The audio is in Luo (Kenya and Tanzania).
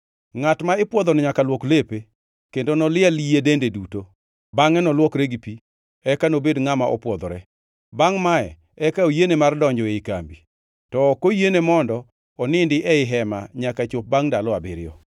“Ngʼat ma ipwodhono nyaka luok lepe, kendo noliel yie dende duto, bangʼe nolwokre gi pi, eka nobed ngʼama opwodhore. Bangʼ mae eka oyiene mar donjo ei kambi to ok oyiene mondo onindi ei hema nyaka chop bangʼ ndalo abiriyo.